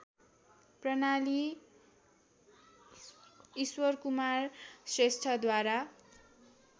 प्रणाली ईश्वरकुमार श्रेष्ठद्वारा